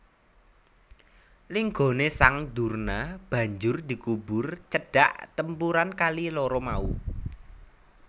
Linggané sang Durna banjur dikubur cedhak tempuran kali loro mau